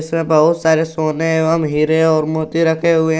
बहुत सारे सोने एवं हीरे और मोती रखे हुए हैं।